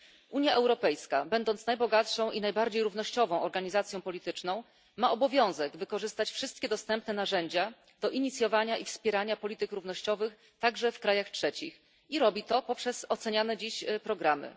Unia Europejska, będąc najbogatszą i najbardziej równościową organizacją polityczną, ma obowiązek wykorzystać wszystkie dostępne narzędzia do inicjowania i wspierania polityki równościowej także w krajach trzecich i robi to poprzez oceniane dziś programy.